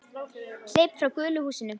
Hleyp frá gulu húsinu.